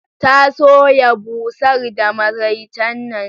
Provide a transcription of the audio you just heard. Ta soya busar da maraicen nan.